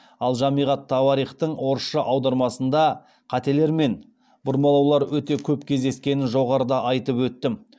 ал жамиғ ат тауарихтың орысша аудармасында қателер мен бұрмалаулар өте көп кездескенін жоғарыда айтып өттім